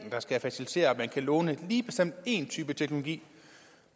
der skal facilitere at man kan låne lige bestemt én type teknologi